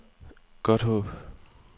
Godthåb